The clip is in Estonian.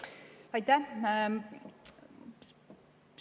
Aitäh!